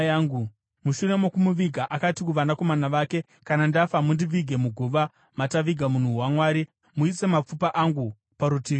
Mushure mokumuviga, akati kuvanakomana vake, “Kana ndafa, mundivige muguva mataviga munhu waMwari; muise mapfupa angu parutivi peake.